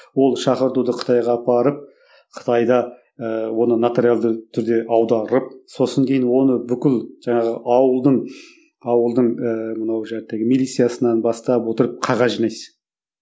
ол шақыртуды қытайға апарып қытайда ыыы оны нотариалды түрде аударып сосын кейін оны бүкіл жаңағы ауылдың ауылдың ііі мынау милициясынан бастап отырып қағаз жинайсың